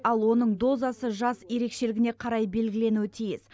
ал оның дозасы жас ерекшелігіне қарай белгіленуі тиіс